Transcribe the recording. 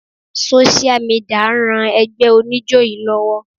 Sósíà midìà ń ran ẹgbẹ́ oníjó yí lọ́wọ́.